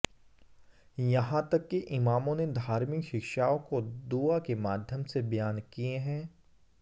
यहां तक कि इमामों ने धार्मिक शिक्षाओं को दुआ के माध्यम से बयान किये हैं